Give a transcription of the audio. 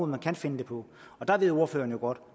man kan finde dem på og der ved ordføreren jo godt